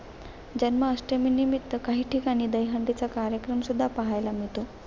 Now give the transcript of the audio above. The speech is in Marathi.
जन्माष्टमीनिमित्त काही ठिकाणी दहीहंडीचा कार्यक्रम सुद्धा पाहायला मिळतात.